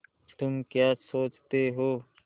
तुम क्या सोचते हो